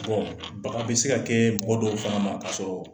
baga bi se ka kɛ mɔgɔ dɔw fana ma ka sɔrɔ